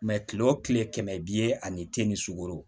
kile o kile kɛmɛ ani ti ni sugoro